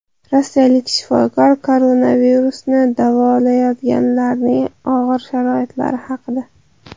Rossiyalik shifokor koronavirusni davolayotganlarning og‘ir sharoitlari haqida.